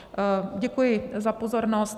Děkuji za pozornost.